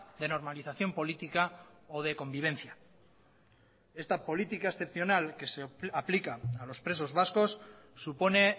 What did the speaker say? de normalización política o de convivencia esta política excepcional que se aplica a los presos vascos supone